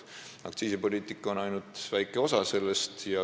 Aktsiisipoliitika on ainult väike osa sellest.